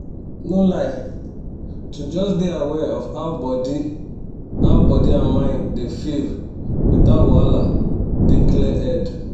no lie to just dey aware of how body how body and mind dey feel without wahala dey clear head